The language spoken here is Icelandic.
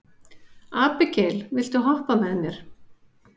Abigael, viltu hoppa með mér?